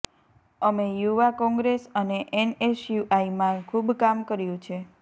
અમે યુવા કોંગ્રેસ અને એનએસયૂઆઈમાં ખૂબ કામ કર્યું છે